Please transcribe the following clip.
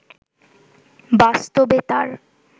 বাস্তবে তার